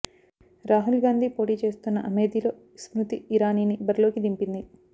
రాహుల్ గాంధీ పోటీ చేస్తున్న అమేథీలో స్మృతి ఇరానీని బరిలోకి దింపింది